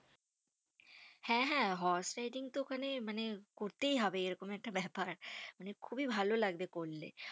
হ্যাঁ হ্যাঁ horse riding তো ওখানে মানে করতেই হবে, এরকম একটা ব্যাপার মানে খুবই ভালো লাগবে করলে।